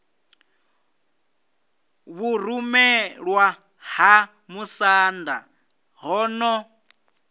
vhurumelwa ha musanda ho no